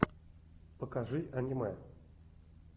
покажи аниме